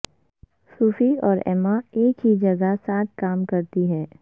صوفی اور ایما ایک ہی جگہ ساتھ کام کرتی ہیں